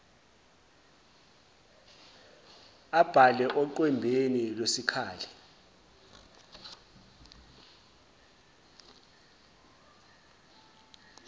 abhale oqwembeni lwesikali